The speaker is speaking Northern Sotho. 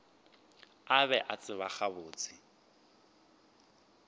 a be a tseba gabotse